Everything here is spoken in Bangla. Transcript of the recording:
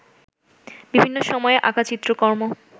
বিভিন্ন সময়ে আঁকা চিত্রকর্ম